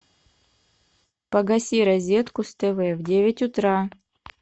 погаси розетку с тв в девять утра